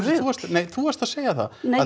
nei þú varst að segja það nei